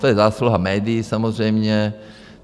To je zásluha médií samozřejmě.